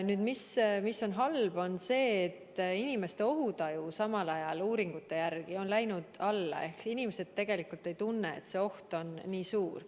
Nüüd, halb on see, et uuringute järgi on inimeste ohutaju samal ajal läinud alla ehk inimesed tegelikult ei tunne, et see oht on nii suur.